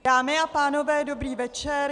Dámy a pánové, dobrý večer.